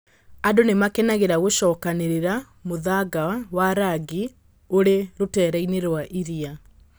Angĩ nĩ makenagĩra gũcokanĩrĩria mũthanga wa rangi ũrĩ rũteere-inĩ rwa iria.